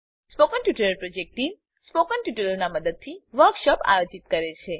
spoken tutorial project team spoken ટ્યુટોરીયલોનાં ઉપયોગથી વર્કશોપોનું આયોજન કરે છે